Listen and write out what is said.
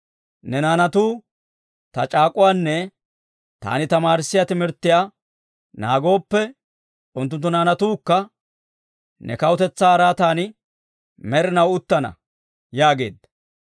Ne naanatuu ta c'aak'uwaanne taani tamaarissiyaa timirttiyaa naagooppe, unttunttu naanatuukka ne kawutetsaa araatan med'inaw uttana» yaageedda.